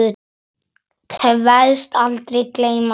Kveðst aldrei gleyma þeim.